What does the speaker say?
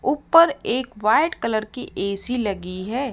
ऊपर एक white colour की ए_सी लगी है।